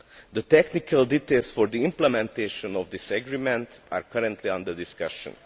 The technical details of the implementation of this agreement are currently under discussion.